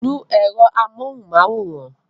Nu èrò amóhunmáwòrán!